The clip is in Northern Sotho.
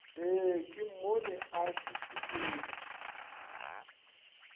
ee ke mmone a šušukile